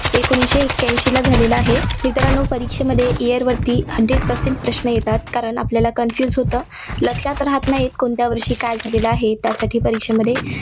एकोणीसशे एक्याऐंशीला झालेला आहे. मित्रांनो परीक्षेमध्ये year वरती Hundred percent प्रश्न येतात. कारण आपल्याला confuse होतं. लक्षात राहात नाही, कोणत्या वर्षी काय झालेले आहे. त्यासाठी परीक्षेमध्ये